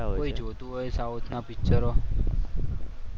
કોઈ જોતું હોય સાઉથ ના પિક્ચરો?